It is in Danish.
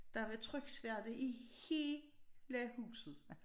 Der var tryksværte i hele huset